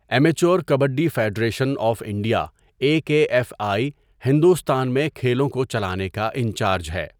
Immature kabaddi federation of India A K F I Hindustan میں کھیلوں کو چلانے کا انچارج ہے.